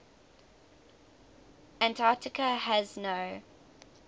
antarctica has no